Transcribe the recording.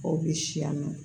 Aw bi si yan nɔ